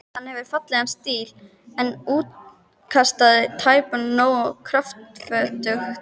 Hann hefur fallegan stíl, en útkastið tæpast nógu kröftugt.